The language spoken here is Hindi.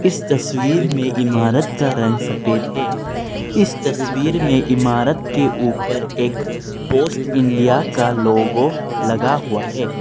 इस तस्वीर में इमारत का रंग सफेद है इस तस्वीर में इमारत के ऊपर एक पोस्ट इंडिया का लोगो लगा हुआ है।